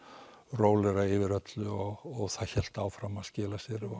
rólegra yfir öllu og það hélt áfram að skila sér